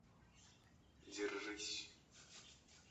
держись